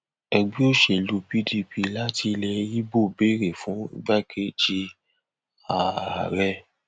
ẹgbẹ òṣèlú pdp láti ilẹ ibo béèrè fún igbákejì ààrẹ